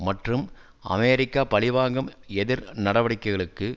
மற்றும் அமெரிக்க பழிவாங்கும் எதிர் நடவடிக்கைகளுக்கு